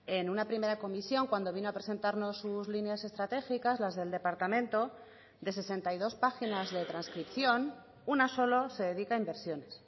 en una primera comisión cuando vino a presentarnos sus líneas estratégicas las del departamento de sesenta y dos páginas de transcripción una solo se dedica a inversiones